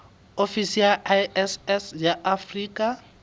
ofisi ya iss ya afrika